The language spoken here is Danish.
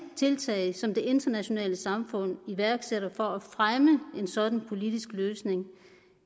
tiltag som det internationale samfund iværksætter for at fremme en sådan politisk løsning